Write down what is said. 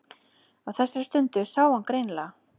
Á þessari stundu sá hann greinilega.